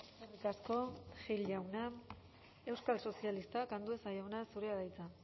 eskerrik asko gil jauna euskal sozialistak andueza jauna zurea da hitza